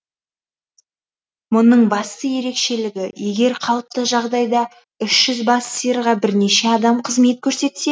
мұның басты ерекшелігі егер қалыпты жағдайда үш жүз бас сиырға бірнеше адам қызмет көрсетсе